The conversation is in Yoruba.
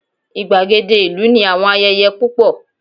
igbagede ìlú ni àwọn ayẹyẹ púpọ